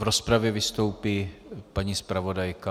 V rozpravě vystoupí paní zpravodajka.